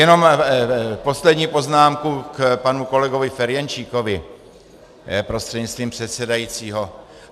Jenom poslední poznámku k panu kolegovi Ferjenčíkovi prostřednictvím předsedajícího.